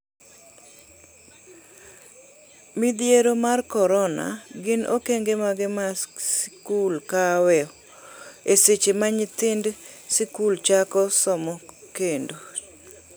Midhiero mar Korona: Gin okenge mage ma skul kawo e seche ma nyithind sikul chako somo kendo?